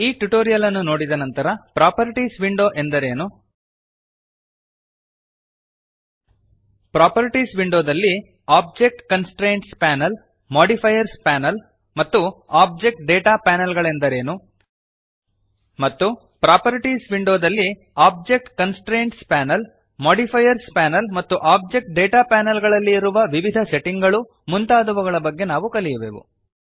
ಈ ಟ್ಯುಟೋರಿಯಲ್ ಅನ್ನು ನೋಡಿದ ನಂತರ ಪ್ರಾಪರ್ಟೀಸ್ ವಿಂಡೋ ಎಂದರೇನು ಪ್ರಾಪರ್ಟೀಸ್ ವಿಂಡೋದಲ್ಲಿ object constraints panel modifiers panel ಮತ್ತು ಓಬ್ಜೆಕ್ಟ್ ಡೇಟಾ ಪ್ಯಾನಲ್ ಗಳೆಂದರೇನು160 ಮತ್ತು ಪ್ರಾಪರ್ಟೀಸ್ ವಿಂಡೋದಲ್ಲಿ object constraints panel modifiers panel ಮತ್ತು ಓಬ್ಜೆಕ್ಟ್ ಡೇಟಾ ಪ್ಯಾನಲ್ ಗಳಲ್ಲಿ ಇರುವ ವಿವಿಧ ಸೆಟ್ಟಿಂಗ್ ಗಳು ಮುಂತಾದವುಗಳ ಬಗೆಗೆ ನಾವು ಕಲಿಯುವೆವು